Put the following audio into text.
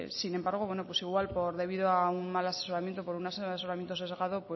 sin embargo igual debido a un mal asesoramiento por un asesoramiento sesgado